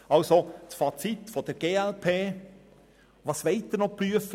Das Fazit der glp: Was soll noch geprüft werden?